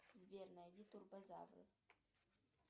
сбер найди турбозавры